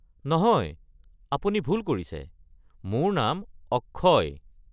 নহয়, আপুনি ভুল কৰিছে, মোৰ নাম অক্ষয়।